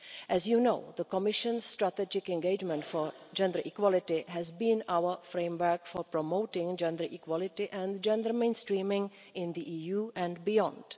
As you know, the Commission's strategic engagement for gender equality has been our framework for promoting gender equality and gender mainstreaming in the EU and beyond.